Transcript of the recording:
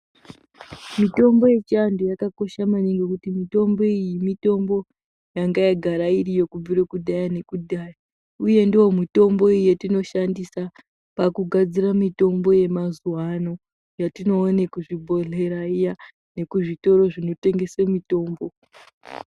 Mitombo yechianthu yakakoshe maningi nekuti mitombo iyi mitombo yanga yagara iriyo kubvire kudhaya nekudhaya uye ndiyo mitombo yatinoshandisa pakugadzira mitombo yemazuwaano yatinoona kuzvibhedhleya iya nekuzvitoro zvinotengesa mitombo.